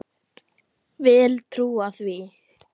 Vil trúa því.